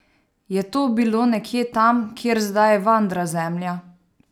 Je to bilo nekje tam, kjer zdaj vandra Zemlja?